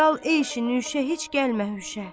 Dal ey şinişə, heç gəlmə hüşə.